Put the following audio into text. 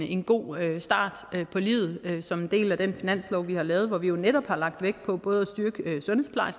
en god start på livet som en del af den finanslov vi har lavet hvor vi netop har lagt vægt på